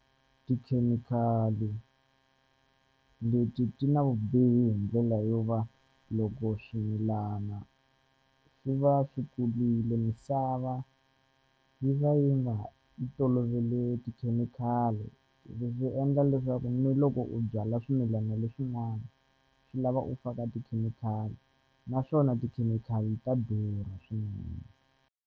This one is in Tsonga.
Tikhemikhali leti ti na vubihi hi ndlela yo va loko swimilana swi va swi kulile misava yi va yi nga yi tolovele tikhemikhali leswi endla leswaku ni loko u byala swimilana leswin'wana swi lava u faka tikhemikhali naswona tikhemikhali ta durha swinene.